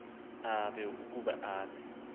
ukuzinikela ukuba abe